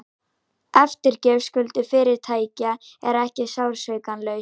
Eftirgjöf skulda fyrirtækja er ekki sársaukalaus